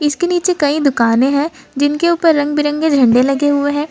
इसके नीचे कई दुकानें है जिनके ऊपर रंग बिरंगे झंडे लगे हुए हैं।